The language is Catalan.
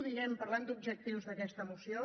diguem ne parlant d’objectius d’aquesta moció